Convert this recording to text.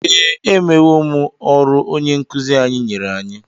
Ee, emewo m ọrụ onye nkụzi anyị nyere anyị.